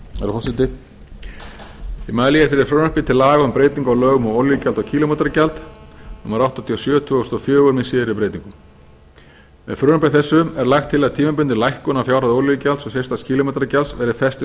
ég mæli fyrir frumvarpi til laga um breytingu á lögum um olíugjald og kílómetragjald númer áttatíu og sjö tvö þúsund og fjögur með síðari breytingum með frumvarpi þessu er lagt til að tímabundin lækkun á fjárhæð olíugjalds og sérstaks kílómetragjalds verði fest til